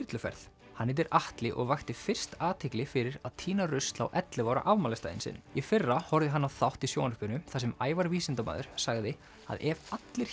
þyrluferð hann heitir Atli og vakti fyrst athygli fyrir að tína rusl á ellefu ára afmælisdaginn sinn í fyrra horfði hann á þátt í sjónvarpinu þar sem Ævar vísindamaður sagði að ef allir